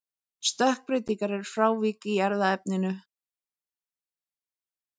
stökkbreytingar eru frávik í erfðaefninu